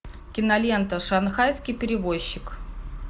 кинолента шанхайский перевозчик